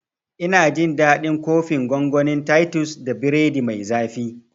Ina jin daɗin kofin gongonin titus da biredi mai zafi